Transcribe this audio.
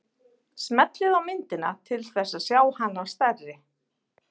Smellið á myndina til þess að sjá hana stærri.